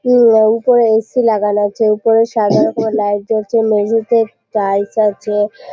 নীল রং করে এ.সি লাগানো আছে। এরপরে সাদা রকমের লাইট জ্বলসে। মেঝেতে টাইলস আছে।